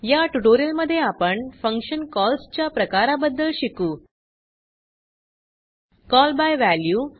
या ट्यूटोरियल मध्ये आपण फंक्शन कॉल्स च्या प्रकाराबदद्ल शिकू जसे की कॉल बाय वॅल्यू